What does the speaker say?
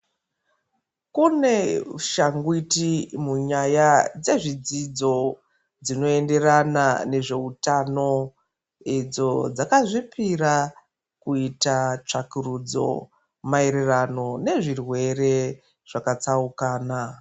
Kune shangwiti munyaya dzezvidzidzo, dzinoenderana nezveutano idzo dzakazvipira, kuita tsvakurudzo, maererano nezvirwere zvakatsaukana.